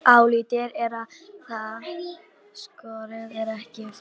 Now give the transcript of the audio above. Álitið er að það skorti ekki í fæðið.